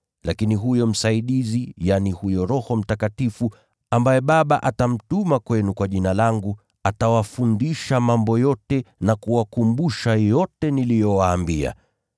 Lakini huyo Msaidizi, yaani, huyo Roho Mtakatifu, ambaye Baba atamtuma kwenu kwa Jina langu, atawafundisha mambo yote na kuwakumbusha yote niliyowaambia.